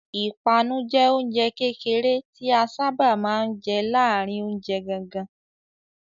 Ìpanu jẹ oúnjẹ kékeré tí a sáábà máa ń jẹ láàárin oúnjẹ gangan.